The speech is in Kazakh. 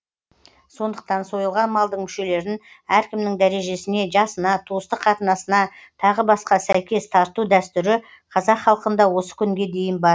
сондықтан сойылған малдың мүшелерін әркімнің дәрежесіне жасына туыстық қатынасына тағы басқа сәйкес тарту дәстүрі қазақ халқында осы күнге дейін бар